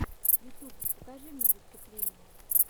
ютьюб покажи мне выступления